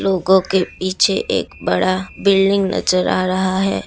लोगों के पीछे एक बड़ा बिल्डिंग नजर आ रहा है।